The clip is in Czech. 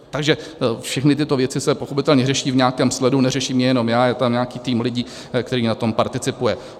Takže všechny tyto věci se pochopitelně řeší v nějakém sledu, neřeším je jenom já, je tam nějaký tým lidí, který na tom participuje.